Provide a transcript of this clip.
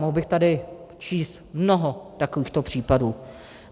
Mohl bych tady číst mnoho takovýchto případů.